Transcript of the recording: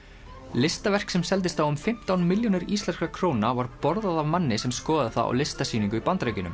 listaverk sem seldist á um fimmtán milljónir íslenskra króna var borðað af manni sem skoðaði það á listasýningu í Bandaríkjunum